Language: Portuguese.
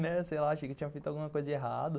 Né, sei lá, achei que eu tinha feito alguma coisa errado.